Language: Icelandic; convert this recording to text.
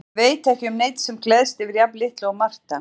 Ég veit ekki um neinn sem gleðst yfir jafn litlu og Marta.